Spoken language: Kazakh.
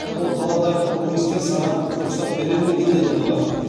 ол қаладағы коммунистер саған рұқсат берер ме екен деді олар